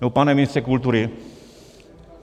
Nebo pane ministře kultury?